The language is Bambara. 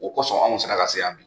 O kosɔn an mi se ka lase yan bi.